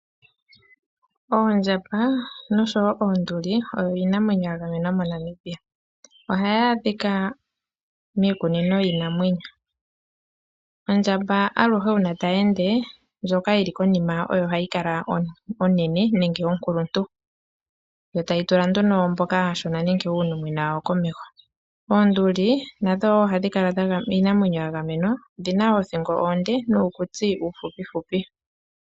Oondjamba nosho wo oonduli oyo iinamwenyo yagamenwa moNamibia ohayi adhika miikunino yiinamwenyo. Ondjamba aluhe uuna tayeende ndjoka yili konima oyo hayi kala onene nenge onkuluntu, yo tayi tula nduno mboka aashona nenge uunimona wawo komeho. Oonduli nadho wo iinamwenyo yagamenwa, odhina othingo onde nuukutsi uufupifupi.